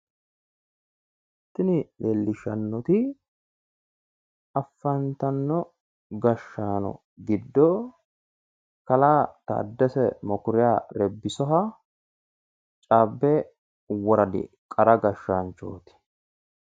Tini leellishshannoti afantanno gashshaano giddo kalaa taddese mekuriya rebbisoha cabbe woradi qara gashshaanchooti.